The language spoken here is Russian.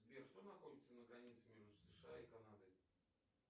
сбер что находится на границе между сша и канадой